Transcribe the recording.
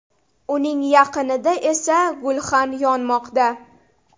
Uning yaqinida esa gulxan yonmoqda.